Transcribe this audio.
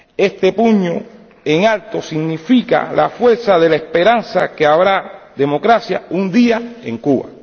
Este puño en alto significa la fuerza de la esperanza en que habrá democracia un día en Cuba.